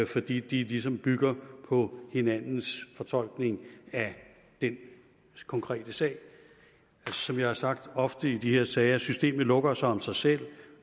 fordi de ligesom bygger på hinandens fortolkning af den konkrete sag som jeg har sagt ofte i de her sager systemet lukker sig om sig selv